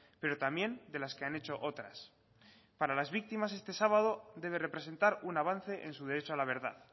pero también de las que han hecho otras para las víctimas este sábado debe representar un avance en su derecho a la verdad